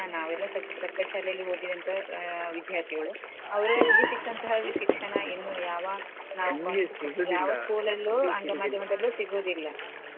ನಾವೆಲ್ಲಾ ಸ~ ಸರ್ಕಾರಿ ಶಾಲೆಯಲ್ಲಿ ಓದಿದಂತಹ ವಿದ್ಯಾರ್ಥಿಗಳು ಅವ್ರಲ್ಲಿ ಸಿಕ್ಕಂತಹ ಶಿಕ್ಷಣ ಏನು ಯಾವ school ಲಲ್ಲೂ ಆಂಗ್ಲ ಮಾಧ್ಯಮದಲ್ಲೂ ಸಿಗುದಿಲ್ಲಾ.